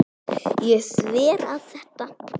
Ég sver að þetta.